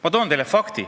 Ma toon teile ühe fakti.